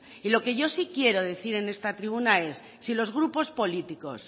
y lo que yo sí quiero decir en esta tribuna es si los grupos políticos